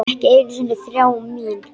Ekki einu sinni þrá mín.